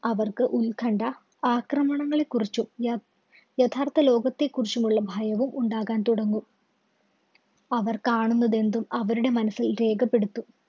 അവര്‍ക്ക് ഉല്‍കണ്‌ഠ, ആക്രമണങ്ങളെ കുറിച്ചും യ യഥാര്‍ത്ഥ ലോകത്തെ കുറിച്ചുള്ളമുള്ള ഭയവും ഉണ്ടാകാന്‍ തുടങ്ങും. അവര്‍ കാണുന്നതെന്തും അവരുടെ മനസ്സില്‍ രേഖപ്പെടുത്തും.